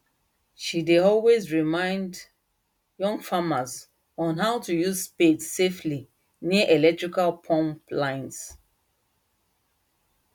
she dey always remind young farmers on how to use spade safely near electrical pump lines